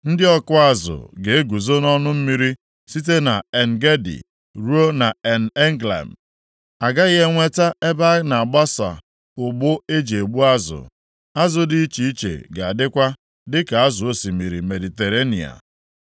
Ndị ọkụ azụ ga-eguzo nʼọnụ mmiri, site nʼEn-Gedi ruo nʼEn-Eglaim a gaghị enweta ebe a na-agbasa ụgbụ e ji egbu azụ. Azụ dị iche iche ga-adịkwa, dịka azụ osimiri Mediterenịa.